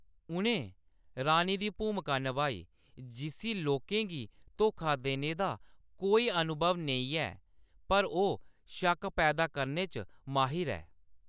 उʼनें रानी दी भूमका नभाई, जिसी लोकें गी धोखा देने दा कोई अनुभव नेईं ऐ, पर ओह्‌‌ शक्क पैदा करने च माहिर ऐ।